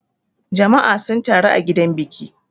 Jama'a sun taru a gidan biki.